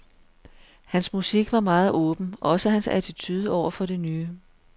Hans musik var meget åben, også hans attitude overfor det nye.